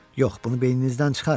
Yox, bunu beyninizdən çıxarın.